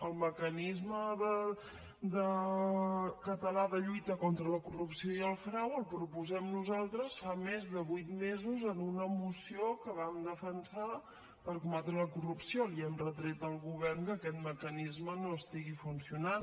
el mecanisme català de lluita contra la corrupció i el frau el proposem nosaltres fa més de vuit mesos en una moció que vam defensar per combatre la corrupció li hem retret al govern que aquest mecanisme no estigui funcionant